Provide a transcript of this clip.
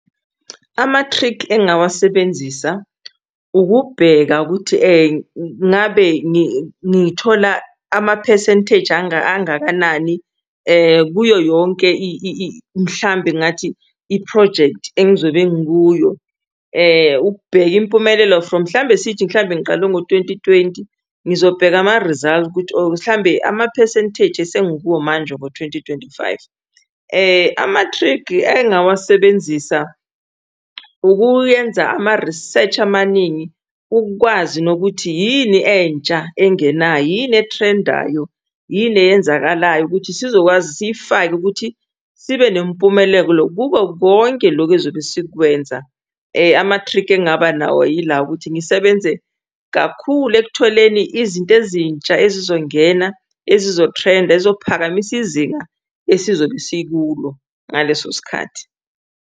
Amathrikhi engingawasebenzisa ukubheka ukuthi ngabe ngithola ama-percentage angangakanani kuyo yonke mhlambe ngingathi iphrojekthi engizobe ngikuyo ukubheka impumelelo from mhlawumbe sithi mhlawumbe ngiqale ngo-twenty twenty ngizobheka ama-result ukuthi mhlawumbe ama-percentage esengikuwo manje ngotwenty twenty five. Amathrikhi engingawasebenzisa ukuyenza ama-research amaningi ukwazi nokuthi yini entsha engenayo yini ethrendayo? Yini eyenzakalayo? Ukuthi sizokwazi siyifake ukuthi sibe nempumelelo kuko konke lokhu ezobe sikwenza. Amathrikhi engingaba nawo yilawo ukuthi ngisebenze kakhulu ekutholeni izinto ezintsha ezizongena ezizothrenda ezizophakamisa izinga esizobe sikulo ngaleso sikhathi.